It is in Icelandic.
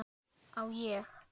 Á ég?